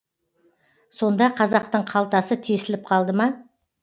сонда қазақтың қалтасы тесіліп қалды ма